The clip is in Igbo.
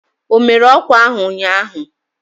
O mere ọkwa ahụ ụnyahụ?